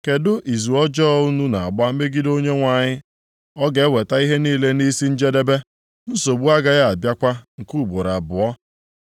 Kedụ izu ọjọọ unu na-agba megide Onyenwe anyị ọ ga-eweta ihe niile nʼisi njedebe; nsogbu agaghị abịakwa nke ugboro abụọ.